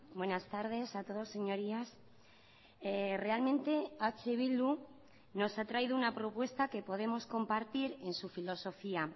buenas tardes a todos señorías realmente eh bildu nos ha traído una propuesta que podemos compartir en su filosofía